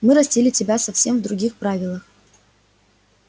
мы растили тебя совсем в других правилах